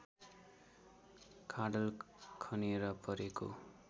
खाडल खनेर परेको